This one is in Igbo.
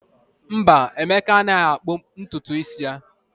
Mba, Emeka anaghị akpụ ntutu isi ya.